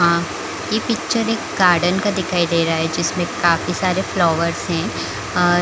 ये पिक्चर एक गार्डन का दिखाई दे रहा है जिस में काफी सारे फ्लावर्स है।